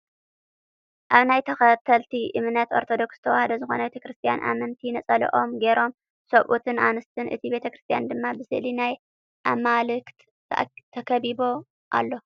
ኣብ ናይ ተከተልቲ እምነት ኦርቶዶክስ ተዋህዶ ዝኮነት ቤተ ክርስትያን ኣመንቲ ነፀለኦም ጌሮም ሰቡኡትን ኣንስትን እቲ ቤተ ክርስትያን ድማ ብስእሊ ናይ ኣማልክት ተከቢቡ ኣሎ።